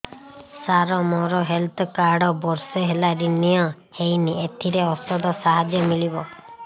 ସାର ମୋର health card ବର୍ଷେ ହେଲା ରିନିଓ ହେଇନି ଏଥିରେ ଔଷଧ ସାହାଯ୍ୟ ମିଳିବ